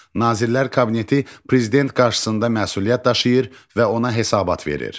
Nazirlər Kabineti prezident qarşısında məsuliyyət daşıyır və ona hesabat verir.